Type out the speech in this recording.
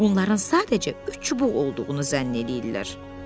Bunların sadəcə üç çubuq olduğunu zənn eləyirlər.